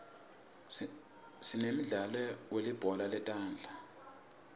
sinemdlalo welibhola letandza